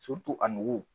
a nugu